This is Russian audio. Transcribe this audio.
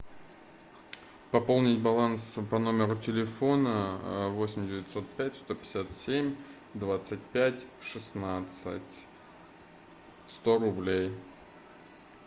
пополнить баланс по номеру телефона восемь девятьсот пять сто пятьдесят семь двадцать пять шестнадцать сто рублей